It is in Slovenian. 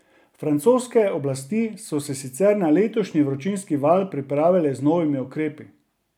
Francoske oblasti so se sicer na letošnji vročinski val pripravile z novimi ukrepi.